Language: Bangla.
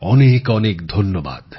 অনেক অনেক ধন্যবাদ